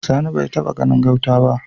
Sani bai taba ganin gauta ba